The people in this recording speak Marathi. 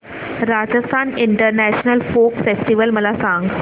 राजस्थान इंटरनॅशनल फोक फेस्टिवल मला सांग